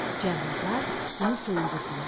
Cəlladlar bunu soyundurdular.